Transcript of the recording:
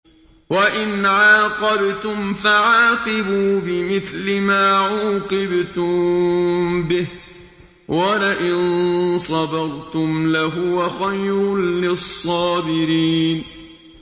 وَإِنْ عَاقَبْتُمْ فَعَاقِبُوا بِمِثْلِ مَا عُوقِبْتُم بِهِ ۖ وَلَئِن صَبَرْتُمْ لَهُوَ خَيْرٌ لِّلصَّابِرِينَ